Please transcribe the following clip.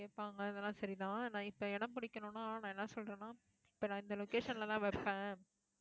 கேட்பாங்க இதெல்லாம் சரிதான். நான் இப்போ இடம் பிடிக்கணும்னா நான் என்ன சொல்றேன்னா இப்போ நான் இந்த location ல தான் வைப்பேன்